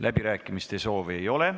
Läbirääkimiste soovi ei ole.